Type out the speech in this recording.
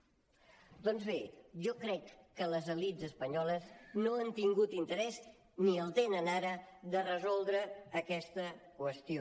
doncs bé jo crec que les elits espanyoles no han tingut interès ni el tenen ara de resoldre aquesta qüestió